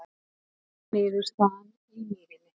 Jafntefli niðurstaðan í Mýrinni